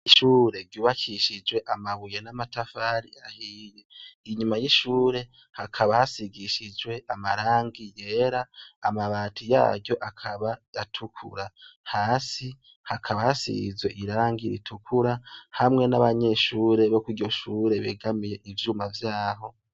Ishure ryubakishije amabuye n'amatafari ahiye, inyuma y'ishure hakaba hasigishijwe amarangi yera amabati yaryo akaba atukura, hasi hakaba hasizwe irangi ritukura hamwe n'abanyeshure bo kw'iryo shure begamiye ivyuma vyaho.